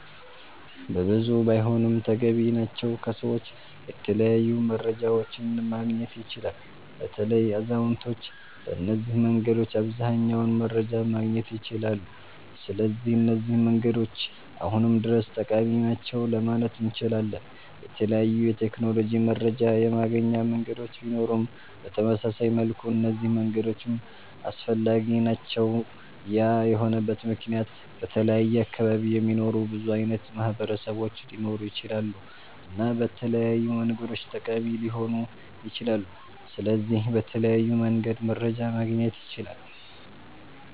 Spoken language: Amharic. በብዙ ባይሆንም ተገቢ ናቸዉ ከሰዎች የተለያዩ መረጃዎችን ማግኘት ይቻላል። በተለይ አዛዉነቶች በነዚህ መንገዶች አብዘሃኛዉን መረጃ ማግኘት ይችላሉ ስለዚህ እነዚህ መንገዶች አሁንም ድረስ ጠቃሚ ናቸዉ ለማለት እነችላለን። የተለያዩ የቴክኖሎጂ መረጃ የማገኛ መንገዶች ቢኖሩም በተመሳሳይ መልኩ እነዚህ መንገዶችም አስፈላጊ ናቸዉ ያ የሆነበት መክንያት በተለያየ አካባቢ የሚኖሩ ብዙ አይነት ማህበረሰቦች ሊኖሩ ይችላሉ እና በተለያዩ መንገዶች ጠቃሚ ሊሆኑ ይችላሉ። ስለዚህ በተለያዩ መንገድ መረጃ ማግኘት ይቻላል